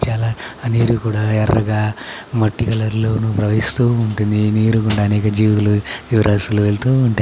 చాల నీరు కూడా ఎర్రగా మట్టి కలర్ లో ను ప్రవహిస్తూ ఉంటాయి. ఏ నీరు అనేక జీవరాసులు వేలు ప్రవహిస్తూ ఉంటాయి.